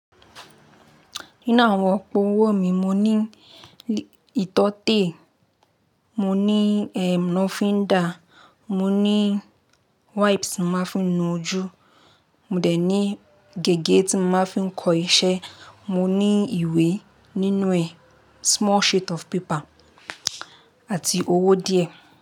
Nínú àwọn òpó owó mi, mo ní ìtọ́tè, mo ní lófíndà, mo ní wipes ti mo màá fí nu ojú, mo dẹ̀ ní gègé tí mo máa ń fi kọ iṣẹ́, mo ní ìwé nínú ẹ small sheet of paper àti owó díẹ̀.